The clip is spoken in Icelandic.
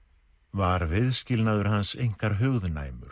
var viðskilnaður hans einkar